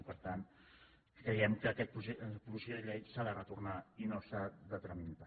i per tant creiem que aquesta pro·posició de llei s’ha de retornar i no s’ha de tramitar